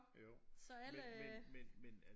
Så alle øh